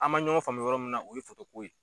An man ɲɔgɔn faamu yɔrɔ min na o ye ko ye.